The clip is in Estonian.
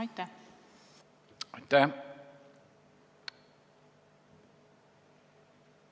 Aitäh!